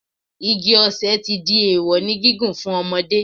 Igi ọ̀sẹ̀ ti di èèwọ̀ ní gígùn fún ọmọdé